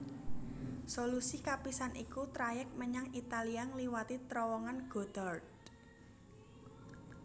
Solusi kapisan iku trayèk menyang Italia ngliwati Trowongan Gotthard